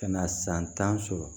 Ka na san tan sɔrɔ